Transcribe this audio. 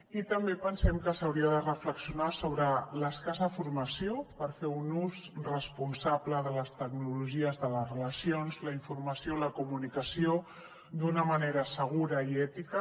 i també pensem que s’hauria de reflexionar sobre l’escassa formació per fer un ús responsable de les tecnologies en les relacions la informació i la comunicació d’una manera segura i ètica